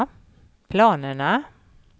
planerna